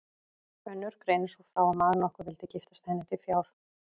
Önnur greinir svo frá að maður nokkur vildi giftast henni til fjár.